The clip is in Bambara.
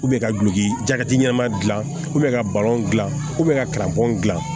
ka duki jati ɲɛnama dilan ka balon dilan ka bɔ